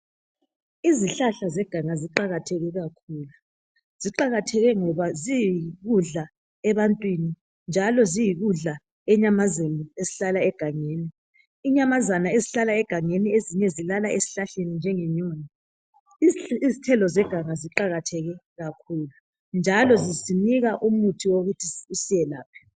Izihlahla zeganga ziqakatheke kakhulu. Ziqakatheke ngoba ziyikudla ebantwini njalo ziyikudla enyamazeni esihlala egangeni. Inyamazana ezihlala egangeni ezinye zilala esihlahleni njenge nyoni . Izithelo zeganga ziqakatheke kakhulu njalo zisinika umuthi sokuthi usiyelaphe.